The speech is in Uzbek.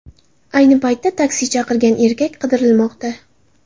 Ayni paytda taksi chaqirgan erkak qidirilmoqda.